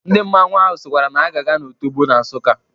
Ndị mmanwụ ahụ sịkwara na ha ga-aga n'Otobo na Nsukka.